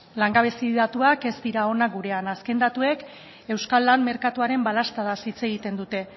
langabezi datuak ez dira onak gurean azken datuek euskal lan merkatuaren balaztadaz hitz egiten dute